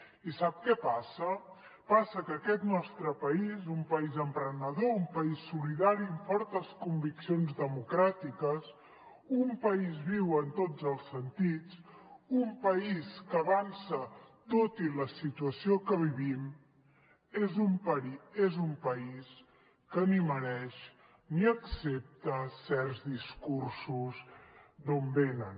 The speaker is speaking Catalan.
i sap què passa passa que aquest nostre país un país emprenedor un país solidari amb fortes conviccions democràtiques un país viu en tots els sentits un país que avança tot i la situació que vivim és un país que ni es mereix ni accepta certs discursos d’on venen